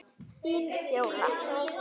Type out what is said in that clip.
Þín, Fjóla.